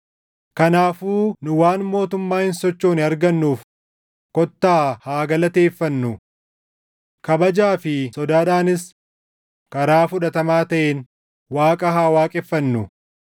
Kanaafuu nu waan mootummaa hin sochoone argannuuf kottaa haa galateeffannu! Kabajaa fi sodaadhaanis karaa fudhatamaa taʼeen Waaqa haa waaqeffannu;